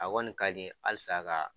A kɔni ka di n ye halisa ka